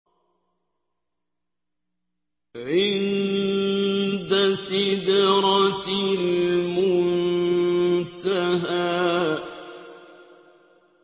عِندَ سِدْرَةِ الْمُنتَهَىٰ